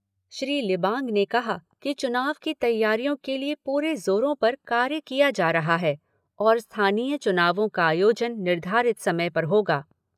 श्री लिबांग ने कहा कि चुनाव की तैयारियों के लिए पूरे ज़ोरों पर कार्य किया जा रहा है और स्थानीय चुनावों का आयोजन निर्धारित समय पर होगा।